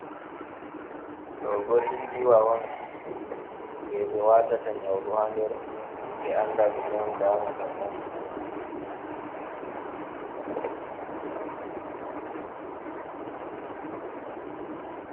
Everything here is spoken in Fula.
Ɗo bo injiiwa on, jey ɓe waatata nyawɗo haa nder ɓe annda ,ɗume on damata mo ?